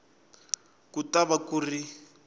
ku ta va ku ri